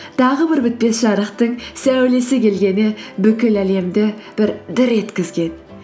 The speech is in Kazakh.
тағы бір бітпес жарықтың сәулесі келгені бүкіл әлемді бір дір еткізген